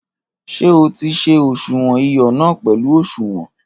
Ṣé o ti se òṣuwọn iyọ na pẹlu òṣuwọn?